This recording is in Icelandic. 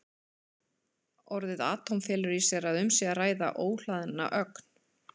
Orðið atóm felur í sér að um sé að ræða óhlaðna ögn.